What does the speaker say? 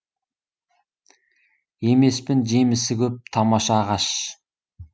емеспін жемісі көп тамаша ағаш